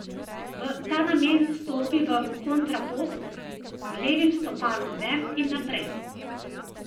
V ta namen stopi v kontrapost, z levim stopalom ven in naprej.